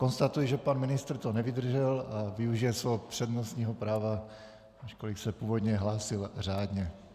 Konstatuji, že pan ministr to nevydržel a využije svého přednostního práva, ačkoliv se původně hlásil řádně.